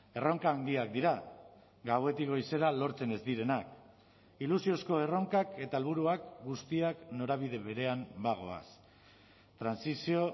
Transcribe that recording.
erronka handiak dira gauetik goizera lortzen ez direnak ilusiozko erronkak eta helburuak guztiak norabide berean bagoaz trantsizio